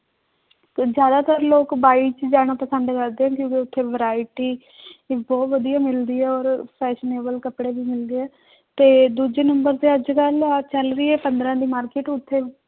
ਤੇ ਜ਼ਿਆਦਾਤਰ ਲੋਕ ਬਾਈ ਚ ਜਾਣਾ ਪਸੰਦ ਕਰਦੇ ਨੇ ਕਿਉਂਕਿ ਉੱਥੇ variety ਵੀ ਬਹੁਤ ਵਧੀਆ ਮਿਲਦੀ ਹੈ ਔਰ fashionable ਕੱਪੜੇ ਵੀ ਮਿਲਦੇ ਹੈ ਤੇ ਦੂਜੇ number ਤੇ ਅੱਜ ਕੱਲ੍ਹ ਆਹ ਚੱਲ ਰਹੀ ਹੈ ਪੰਦਰਾਂ ਦੀ market ਉੱਥੇ